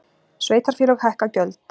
Sveitarfélög hækka gjöld